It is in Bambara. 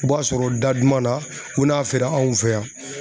U b'a sɔrɔ da duman na u n'a feere anw fɛ yan.